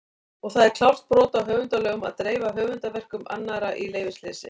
Og það er klárt brot á höfundalögum að dreifa höfundarverkum annarra í leyfisleysi!